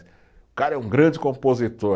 O cara é um grande compositor.